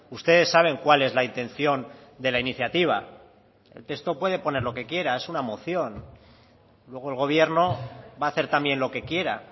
ustedes saben cuál es la intención de la iniciativa el texto puede poner lo que quiera es una moción luego el gobierno va a hacer también lo que quiera